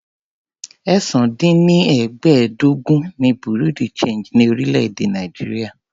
ẹ̀sán -dín- ní- ẹgbẹ́ẹ́ẹdógún ni bureau de change ni orílè-èdè Nàìjíríà.